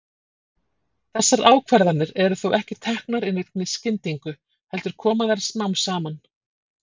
Þessar ákvarðanir eru þó ekki teknar í neinni skyndingu, heldur koma þær smám saman.